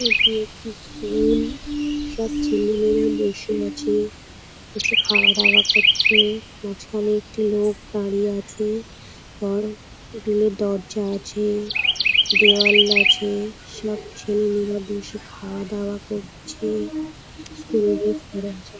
এটি একটি স্কুল সব ছেলেমেয়েরা বসে আছে কিছু খাওয়া দাওয়া করছে মাঝখানে একটি লোক দাঁড়িয়ে আছে ঘর গুলির দরজা আছে দেওয়াল আছে। সব ছেলে মেয়েরা বসে খাওয়া দাওয়া করছে। স্কুল ড্রেস পরে আছে।